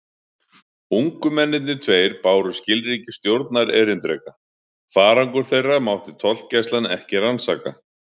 Ungu mennirnir tveir báru skilríki stjórnarerindreka: farangur þeirra mátti tollgæslan ekki rannsaka.